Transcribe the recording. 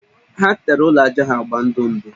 Ha tere ụlọ ajá ha agba ndụ ndụ